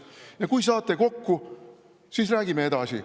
Ja kui saate kokku, siis räägime edasi.